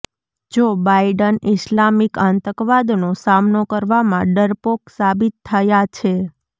જો Biden Islamic આતંકવાદનો સામનો કરવામાં ડરપોક સાબિત થયા છે